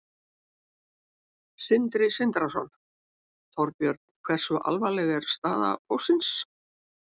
Sindri Sindrason: Þorbjörn, hversu alvarleg er staða Póstsins?